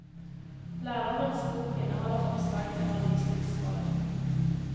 Lærerens bok inneholder forslag til undervisningsforløp.